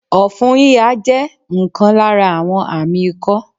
Òfun híha jẹ́ nkan lára àwọn àmí ikó